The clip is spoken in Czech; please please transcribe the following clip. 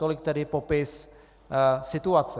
Tolik tedy popis situace.